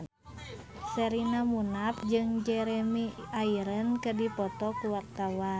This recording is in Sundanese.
Sherina Munaf jeung Jeremy Irons keur dipoto ku wartawan